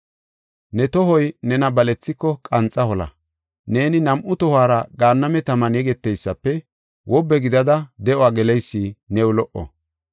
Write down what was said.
Ne tohoy nena balethiko, qanxa hola. Neeni nam7u tohuwara gaanname taman yegeteysafe, wobbe gidada de7uwa geleysi new lo77o.